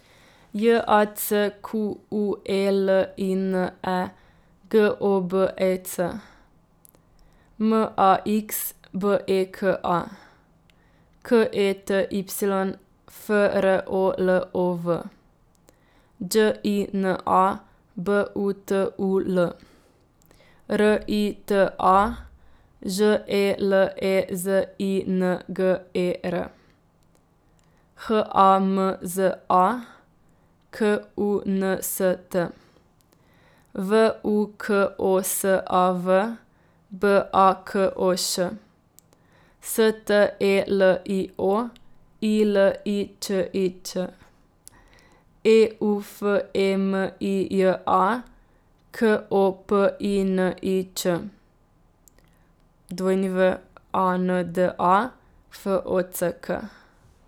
J A C Q U E L I N E, G O B E C; M A X, B E K A; K E T Y, F R O L O V; Đ I N A, B U T U L; R I T A, Ž E L E Z I N G E R; H A M Z A, K U N S T; V U K O S A V, B A K O Š; S T E L I O, I L I Č I Ć; E U F E M I J A, K O P I N I Č; W A N D A, F O C K.